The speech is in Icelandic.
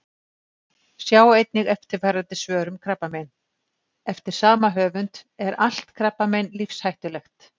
Sjá einnig eftirfarandi svör um krabbamein: Eftir sama höfund Er allt krabbamein lífshættulegt?